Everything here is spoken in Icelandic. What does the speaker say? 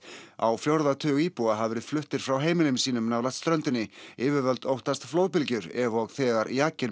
á fjórða tug íbúa hafa verið fluttir frá heimilum sínum nálægt ströndinni yfirvöld óttast flóðbylgjur ef og þegar